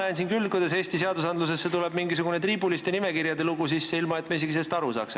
Mina näen küll, kuidas Eesti seadustesse tuleb mingisugune triibuliste nimekirjade lugu sisse, ilma et me sellest isegi aru saaks.